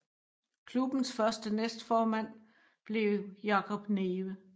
Klubbens første næstformand blev Jacob Neve